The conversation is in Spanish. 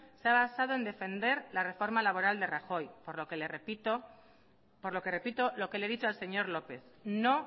se ha basado en defender la reforma laboral de rajoy por lo que repito lo que le he dicho al señor lópez no